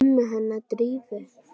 Mömmu hennar Drífu?